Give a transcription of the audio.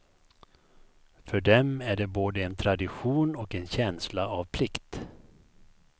För dem är det både en tradition och en känsla av plikt.